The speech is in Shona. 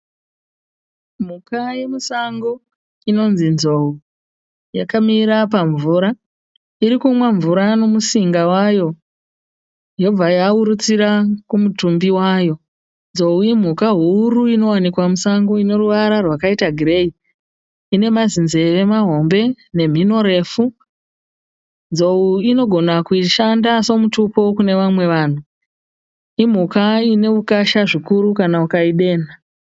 Mhuka yemusango inonzi nzou. Yakamira pamvura . Irikumwa mvura nemusinga wayo yobva yahurutsira kumutumbi wayo. Nzou imhuka huru inowanikwa musango. Ineruvara rwakaita gireyi, ine mazinzeve mahombe nemhino refu. Nzou inogona kushanda semutupo kune vamwe vanhu. Imhuka ine ukasha zvikuru kana ukaidenha.